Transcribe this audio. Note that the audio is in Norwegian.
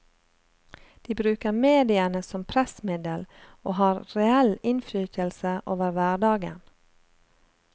De bruker mediene som pressmiddel og har reell innflytelse over hverdagen.